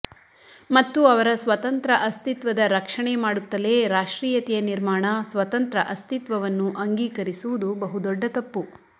ಮತ್ತು ಅವರ ಸ್ವತಂತ್ರ ಅಸ್ತಿತ್ವದ ರಕ್ಷಣೆ ಮಾಡುತ್ತಲೇ ರಾಷ್ಟ್ರೀಯತೆಯ ನಿರ್ಮಾಣ ಸ್ವತಂತ್ರ ಅಸ್ತಿತ್ವವನ್ನು ಅಂಗೀಕರಿಸುವುದು ಬಹುದೊಡ್ಡ ತಪ್ಪು